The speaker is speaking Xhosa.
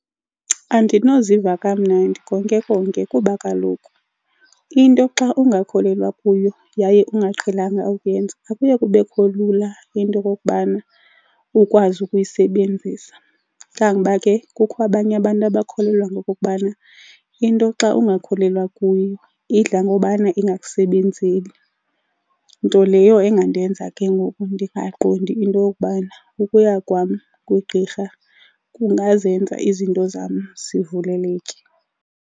Andinoziva kamnandi konke konke kuba kaloku into xa ungakholelwa kuyo yaye ungaqhelanga ukuyenza akuye kubekho lula into yokokubana ukwazi ukuyisebenzisa, kangoba ke kukho abanye abantu abakholelwa ngokokubana into xa ungakholelwa kuyo idla ngobana ingakusebenzeli. Nto leyo engandenza ke ngoku ndingaqondi into yokubana ukuya kwam kugqirha kungazenza izinto zam zivuleleke.